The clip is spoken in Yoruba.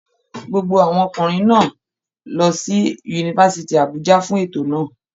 Gbogbo àwọn ọkùnrin náà lọ sí Yunifásítì Àbújá fún ètò náà.